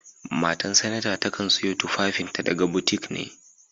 Matan sanata takan sayo tufafin ta daga butiƙ na.